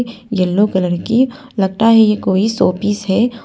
Yellow colour की लगता है यह कोई शोपीस है।